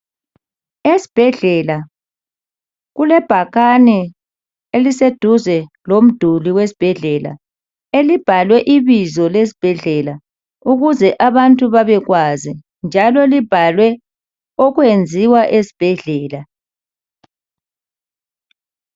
Esbhedlela kulebhakane eliseduze lomduli wesbhedlela, elibhalwe ibizo lesbhedlela ukuze abantu babekwazi njalo libhalwe okwenziwa esbhedlela.